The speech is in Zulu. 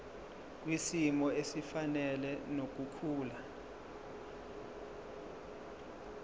kwisimo esifanele nokukhula